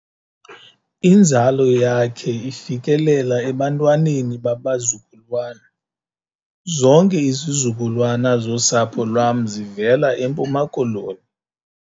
Inzalo yakhe ifikelela ebantwaneni babazukulwana. zonke izizukulwana zosapho lwam zivela eMpuma Koloni